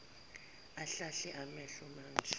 ahlahle amehlo manje